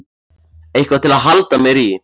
Eitthvað til að halda mér í.